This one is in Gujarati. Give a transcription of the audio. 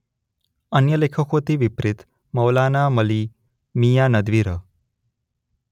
અન્ય લેખકોથી વિપરીત મવલાના અલી મીયાં નદવી રહ.